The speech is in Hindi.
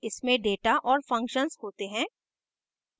इसमें data और functions होते हैं